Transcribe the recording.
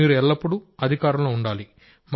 మీరు ఎల్లప్పుడూ అధికారంలో ఉండాలి